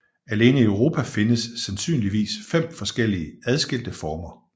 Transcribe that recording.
Alene i Europa findes sandsynligvis fem forskellige adskilte former